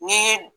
N'i ye